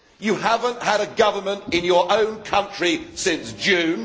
You have not had a government in your own country since June.